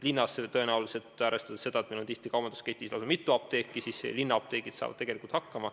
Linnas, arvestades seda, et meil on kaubandusketis tihti lausa mitu apteeki, saavad apteegid tõenäoliselt hakkama.